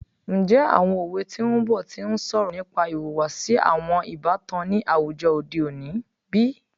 Njẹ awọn owe ti n bọ ti n sọrọ nipa ihuwasi awọn ibatan ni awujọ ode oni bi?